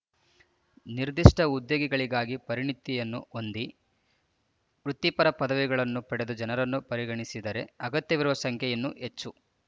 ನಿರ್ದಿಷ್ಟ ಉದ್ಯೋಗಗಳಿಗಾಗಿ ಪರಿಣಿತಿಯನ್ನು ಹೊಂದಿ ವೃತ್ತಿಪರ ಪದವಿಗಳನ್ನು ಪಡೆದ ಜನರನ್ನು ಪರಿಗಣಿಸಿದರೆ ಅಗತ್ಯವಿರುವ ಸಂಖ್ಯೆ ಇನ್ನೂ ಹೆಚ್ಚು